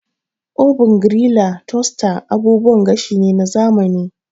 Oven, griller da toaster abubuwan gashi ne na zamani.